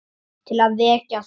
Til að vekja þau.